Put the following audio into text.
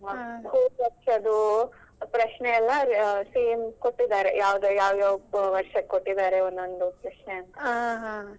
ಅಂದ್ರೆ ಹೋದ್ ವರ್ಷದ್ದು ಪ್ರಶ್ನೆಯಲ್ಲ ಕೊಟ್ಟಿದ್ದಾರೆ same ಕೊಟ್ಟಿದ್ದಾರೆ ಯಾವ್ ಯಾವ್ ವರ್ಷಕ್ಕೆ ಕೊಟ್ಟಿದ್ದಾರೆ ಒಂದೊಂದು ಪ್ರಶ್ನೆ ಅಂತ.